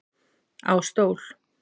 Á stól